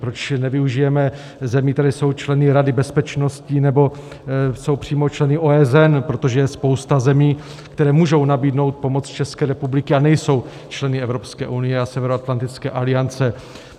Proč nevyužijeme zemí, které jsou členy Rady bezpečnosti nebo jsou přímo členy OSN, protože je spousta zemí, které můžou nabídnout pomoc České republice a nejsou členy Evropské unie a Severoatlantické aliance.